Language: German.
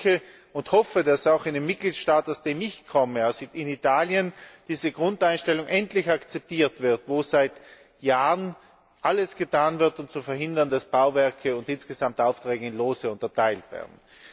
Ich denke und hoffe, dass auch in dem Mitgliedstaat, aus dem ich komme, in Italien, diese Grundeinstellung endlich akzeptiert wird, wo seit Jahren alles getan wird, um zu verhindern, dass Bauwerke und insgesamt Aufträge in Lose unterteilt werden.